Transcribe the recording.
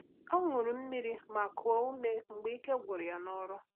Ọ́ ṅụ́rụ̀ mmiri ma kùó úmé mgbe ike gwụ́rụ́ ya n’ọ́rụ́.